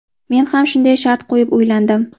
Men ham shunday shart qo‘yib uylandim.